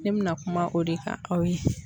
Ne bɛna kuma o de kan aw ye.